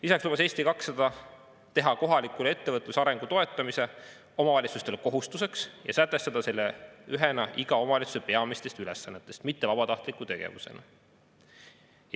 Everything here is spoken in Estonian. Lisaks lubas Eesti 200 teha kohaliku ettevõtluse arengu toetamise omavalitsustele kohustuseks ja sätestada selle ühena iga omavalitsuse peamistest ülesannetest, mitte vabatahtliku tegevusena.